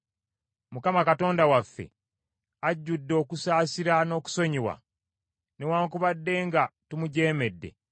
Mukama Katonda waffe ajjudde okusaasira n’okusonyiwa, newaakubadde nga tumujeemedde,